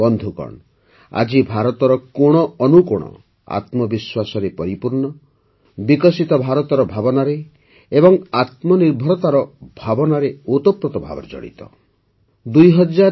ବନ୍ଧୁଗଣ ଆଜି ଭାରତର କୋଣ ଅନୁକୋଣ ଆତ୍ମବିଶ୍ୱାସରେ ପରିପୂର୍ଣ୍ଣ ବିକଶିତ ଭାରତର ଭାବନାରେ ଏବଂ ଆତ୍ମନିର୍ଭରତାର ଭାବନାରେ ଭରପୂର